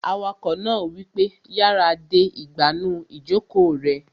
Awakọ̀ náà wípé, "yára de ìgbànú ìjòkó rẹ!"